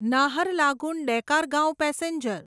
Naharlagun Dekargaon passenger